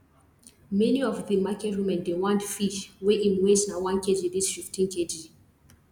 many of the market women dey want fish wey im weight na one kg reach fif ten kg